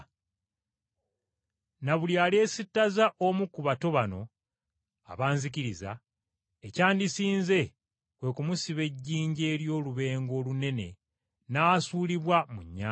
“Na buli alyesittaza omu ku bato bano abanzikiriza, ekyandisinze, kwe kumusiba ejjinja ery’olubengo olunene, n’asuulibwa mu nnyanja.